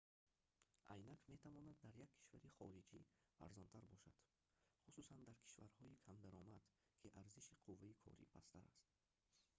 айнак метавонад дар як кишвари хориҷӣ арзонтар бошад хусусан дар кишварҳои камдаромад ки арзиши қувваи корӣ пасттар аст